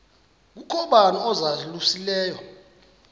kukho bani uzalusileyo